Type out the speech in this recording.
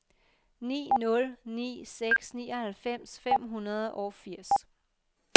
ni nul ni seks nioghalvfems fem hundrede og firs